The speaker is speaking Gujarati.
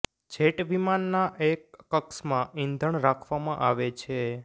જેટ વિમાનના એક કક્ષમાં ઈંધણ રાખવામાં આવે છે